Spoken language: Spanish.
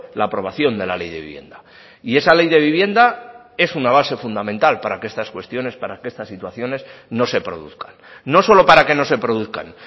la aprobación de la ley de vivienda y esa ley de vivienda es una base fundamental para que estas cuestiones para que estas situaciones no se produzcan no solo para que no se produzcan